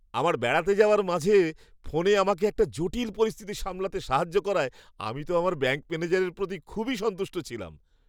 আমার বেড়াতে যাওয়ার মাঝে ফোনে আমাকে একটা জটিল পরিস্থিতি সামলাতে সাহায্য করায় আমি তো আমার ব্যাঙ্ক ম্যানেজারের প্রতি খুবই সন্তুষ্ট ছিলাম।